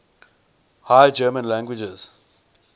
high german languages